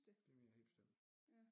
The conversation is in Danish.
Det mener jeg helt bestemt